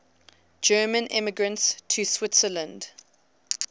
german immigrants to switzerland